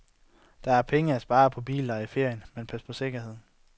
Der er penge at spare på billeje i ferien, men pas på sikkerheden.